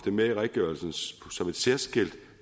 med i redegørelsen som et særskilt